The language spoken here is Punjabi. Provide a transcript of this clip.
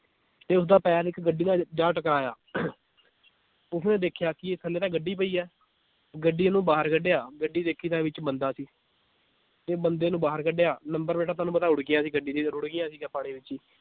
ਤੇ ਉਸਦਾ ਪੈਰ ਇੱਕ ਗੱਡੀ ਨਾਲ ਜਾ ਟਕਰਾਇਆ ਉਸਨੇ ਦੇਖਿਆ ਕਿ ਥੱਲੇ ਤਾਂ ਗੱਡੀ ਪਈ ਹੈ ਗੱਡੀ ਨੂੰ ਬਾਹਰ ਕਢਿਆ ਗੱਡੀ ਦੇਖੀ ਤਾਂ ਵਿਚ ਬੰਦਾ ਸੀ ਤੇ ਬੰਦੇ ਨੂੰ ਬਾਹਰ ਕਢਿਆ number ਪਲੇਟਾਂ ਤੁਹਾਨੂੰ ਪਤਾ ਰੁੜ੍ਹ ਗਿਆ ਸੀ ਗੱਡੀ ਜਦੋਂ ਰੁੜ੍ਹ ਗਿਆ ਸੀਗਾ ਪਾਣੀ ਵਿਚ ਈ